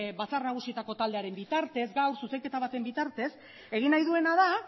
batzar nagusietako taldearen bitartez gaur zuzenketa baten bitartez egin nahi duena da